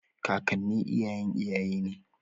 Kakanni iyayen iyaye ne.